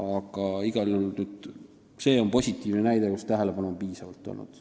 Aga igal juhul on see positiivne näide, tähelepanu on piisavalt olnud.